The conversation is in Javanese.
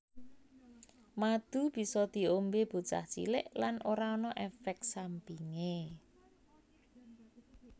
Madu bisa diombé bocah cilik lan ora ana éfék sampingé